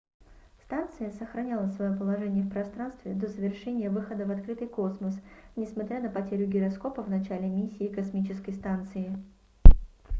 станция сохраняла своё положение в пространстве до завершения выхода в открытый космос несмотря на потерю гироскопа в начале миссии космической станции